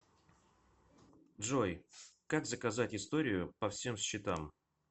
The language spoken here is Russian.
джой как заказать историю по всем счетам